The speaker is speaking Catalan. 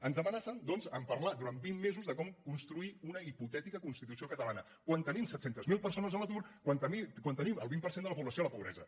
ens amenacen doncs de parlar durant vint mesos de com construir una hipotètica constitució catalana quan tenim set cents miler persones a l’atur quan tenim el vint per cent de la població a la pobresa